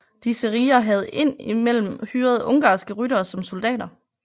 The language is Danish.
Disse riger havde ind imellem hyret ungarske ryttere som soldater